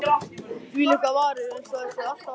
Þvílíkar varir,- eins og þær séu alltaf að tala.